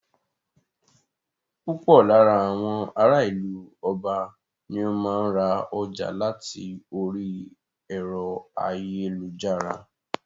Púpọ̀ lára àwọn ará ìlú Ọba ni o máa ń ra ọjà láti orí ẹ̀rọ ayélujára.